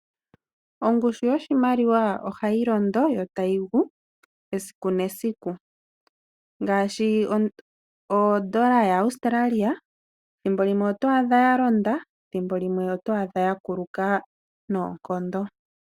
Ongushu yoshimaliwa ohayi londo yo tayi gu esiku nesiku . Ngaashi odola yaAustralia thimbo limwe oto adha ya londa. Thimbo limwe oto adha ya kuluka noonkondo.